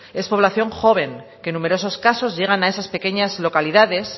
es población joven que en numerosos casos llegan a esas pequeñas localidades